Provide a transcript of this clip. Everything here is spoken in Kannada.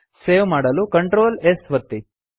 ಸೇವ್ ಮಾಡಲು Ctrl S ಒತ್ತಿ